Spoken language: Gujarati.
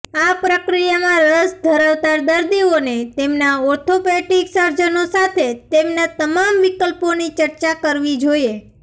આ પ્રક્રિયામાં રસ ધરાવતા દર્દીઓને તેમના ઓર્થોપેડિક સર્જનો સાથે તેમના તમામ વિકલ્પોની ચર્ચા કરવી જોઈએ